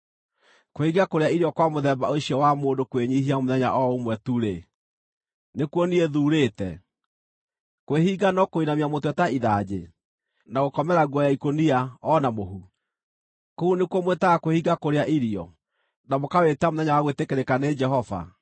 Kwĩhinga kũrĩa irio kwa mũthemba ũcio wa mũndũ kwĩnyiihia mũthenya o ũmwe tu-rĩ, nĩkuo niĩ thuurĩte? Kwĩhinga no kũinamia mũtwe ta ithanjĩ, na gũkomera nguo ya ikũnia, o na mũhu? Kũu nĩkuo mwĩtaga kwĩhinga kũrĩa irio, na mũkawĩta mũthenya wa gwĩtĩkĩrĩka nĩ Jehova?